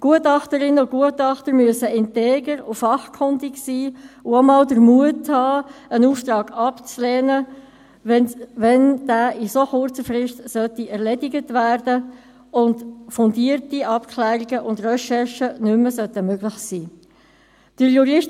Gutachterinnen und Gutachter müssen integer und fachkundig sein und auch mal den Mut haben, einen Auftrag abzulehnen, wenn er in so kurzer Frist erledigt werden soll, und fundierte Abklärungen und Recherchen nicht mehr möglich sein sollten.